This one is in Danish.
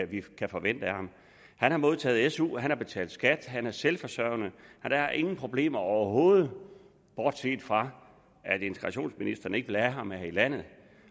vi kan forvente af ham han har modtaget su han har betalt skat han er selvforsørgende der er ingen problemer overhovedet bortset fra at integrationsministeren ikke vil have ham her i landet